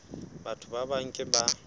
batho ba bang ke ba